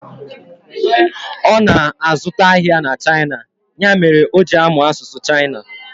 Ọ na azụta ahịa na China, ya mere o ji amụ asụsụ China